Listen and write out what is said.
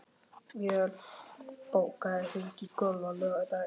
Mjöll, bókaðu hring í golf á laugardaginn.